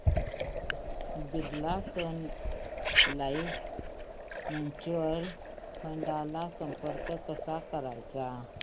Birla Sun Life mutual fund ला संपर्क कसा करायचा